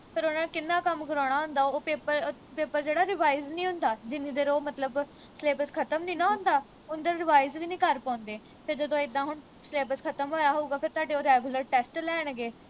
ਫਿਰ ਉਨ੍ਹਾਂ ਨੇ ਕਿੰਨਾ ਕੰਮ ਕਰਾਣਾ ਹੁੰਦਾ ਓਹ paper ਜਿਹੜਾ revise ਨੀ ਹੁੰਦਾ ਜਿੰਨੀ ਦੇਰ ਓਹ ਮਤਲਬ syllabus ਖਤਮ ਨੀ ਨਾ ਹੁੰਦਾ ਓਨੀ ਦੇਰ revise ਵੀ ਨੀ ਕਰ ਪਾਉਂਦੇ ਫਿਰ ਜਦੋਂ ਇੱਦਾਂ ਹੁਣ syllabus ਖਤਮ ਹੋਇਆ ਹੋਉਗਾ ਫਿਰ ਤੁਹਾਡੇ ਉਹ regular test ਲੈਣਗੇ